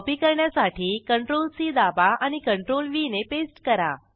copy करण्यासाठी CTRLC दाबा आणि CTRLV ने पेस्ट करा